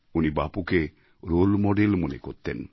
উনি বাপুকে role model মনে করতেন